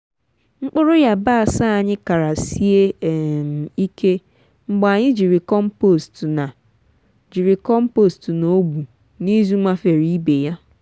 mkpụrụ yabasi anyi kara sie um ike mgbe anyị jiri compost na jiri compost na ogbu n'izu mafere ibe ya.